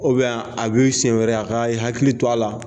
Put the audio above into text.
a b'i siɛn wɛrɛ a ka i hakili to a la.